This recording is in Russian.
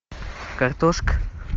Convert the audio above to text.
картошка